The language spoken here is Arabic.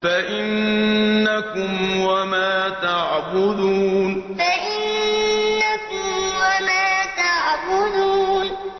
فَإِنَّكُمْ وَمَا تَعْبُدُونَ فَإِنَّكُمْ وَمَا تَعْبُدُونَ